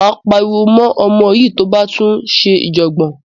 Máa pariwo mọ́ ọmọ yín tó bá tún ṣe ìjọ̀gbọ̀n.